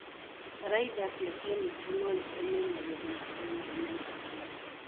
bataraitha cia kemiko no itũme magetha makorũo marĩ maingĩ mũno.